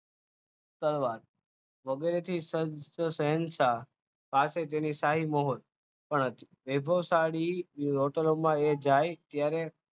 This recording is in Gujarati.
તલવાર વગેરેથી શહેનશાહ પાસે તેની શાહી મહોર પણ હતી વૈભવશાળી હોટલમાં એ જાય ત્યારે